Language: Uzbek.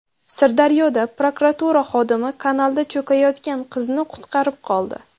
Sirdaryoda prokuratura xodimi kanalda cho‘kayotgan qizni qutqarib qoldi.